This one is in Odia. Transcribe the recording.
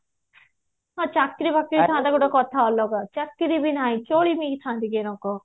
ହଁ ଚାକିରି ବାକିରି କଥା ଅଲଗା କଣ ଦେଇଥାନ୍ତି